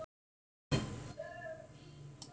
Ég ætla að verða bóndi